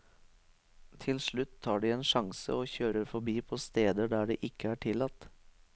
Til slutt tar de en sjanse og kjører forbi på steder der det ikke er tillatt.